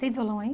Tem violão aí?